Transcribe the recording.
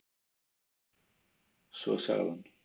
Svo sagði hann